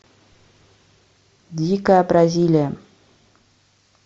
дикая бразилия